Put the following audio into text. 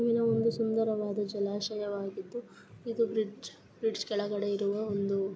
ಒಂದು ಸುಂದರವಾದ ಜಲಾಶಯವಾಗಿದ್ದು ಇದು ಬ್ರಿಡ್ಜ್ ಬ್ರಿಡ್ಜ್ ಕೆಳಗಡೆ ಇರುವ ಒಂದು --